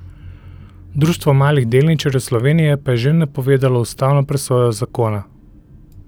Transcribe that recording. Društvo malih delničarjev Slovenije pa je že napovedalo ustavno presojo zakona.